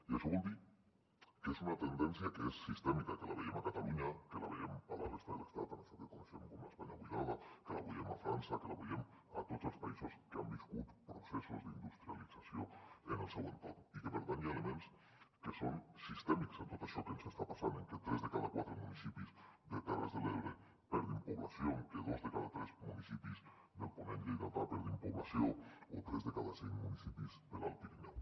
i això vol dir que és una tendència que és sistèmica que la veiem a catalunya que la veiem a la resta de l’estat en això que coneixem com l’espanya buidada que la veiem a frança que la veiem a tots els països que han viscut processos d’industrialització en el seu entorn i que per tant hi ha elements que són sistèmics en tot això que ens està passant en que tres de cada quatre municipis de terres de l’ebre perdin població en que dos de cada tres municipis del ponent lleidatà perdin població o tres de cada cinc municipis de l’alt pirineu